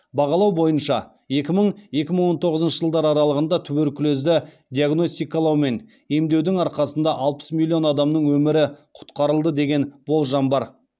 бағалау бойынша екі мың екі мың он тоғызыншы жылдар аралығында туберкулезді диагностикалау мен емдеудің арқасында алпыс миллион адамның өмірі құтқарылды деген болжам бар